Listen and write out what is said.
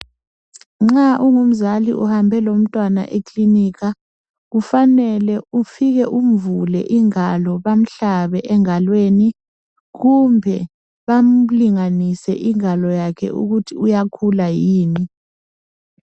Nxa ungumzali uhambe lomntwana ekilinika, kufanele ufike umvule ingalo bamhlabe engalweni kumbe bamlinganise ukuthi uyakhula yini.